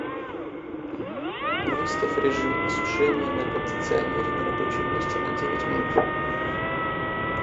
выставь режим осушения на кондиционере на рабочем месте на девять минут